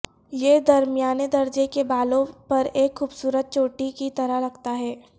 یہ درمیانے درجے کے بالوں پر ایک خوبصورت چوٹی کی طرح لگتا ہے